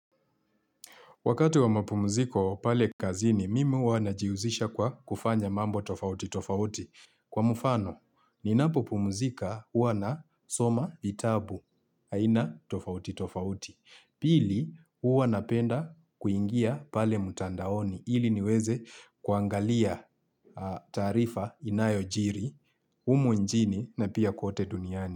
Wakati wa mapumziko pale kazini, mimi huwa najihusisha kwa kufanya mambo tofauti tofauti. Kwa mfano, ninapopumzika huwa nasoma vitabu aina tofauti tofauti. Pili, huwa napenda kuingia pale mtandaoni ili niweze kuangalia taarifa inayojiri, humu nchini na pia kwote duniani.